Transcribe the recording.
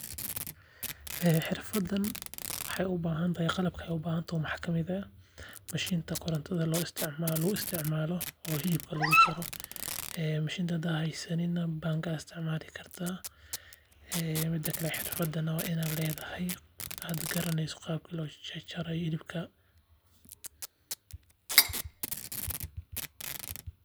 Xirfadan waxeey ubahan tahay mashiinka korontada ama bangaa aad isticmaali kartaa waa inaad garaneyso qaabka loo jarjari hilibka.